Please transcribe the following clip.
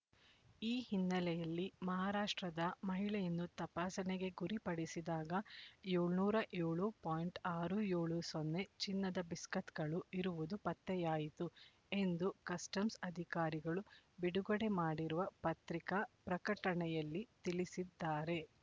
ಈ ಹಿನ್ನೆಲೆಯಲ್ಲಿ ಮಹಾರಾಷ್ಟ್ರದ ಮಹಿಳೆಯನ್ನು ತಪಾಸಣೆಗೆ ಗುರಿಪಡಿಸಿದಾಗ ಏಳುನೂರ ಏಳು ಪಾಯಿಂಟ್ ಆರು ಏಳು ಸೊನ್ನೆ ಚಿನ್ನದ ಬಿಸ್ಕತ್‌ಗಳು ಇರುವುದು ಪತ್ತೆಯಾಯಿತು ಎಂದು ಕಸ್ಟಮ್ಸ್ ಅಧಿಕಾರಿಗಳು ಬಿಡುಗಡೆ ಮಾಡಿರುವ ಪತ್ರಿಕಾ ಪ್ರಕಟಣೆಯಲ್ಲಿ ತಿಳಿಸಿದ್ದಾರೆ